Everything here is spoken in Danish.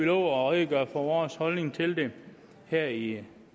at redegøre for vores holdning til det her i